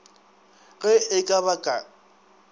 ge e ka ba ka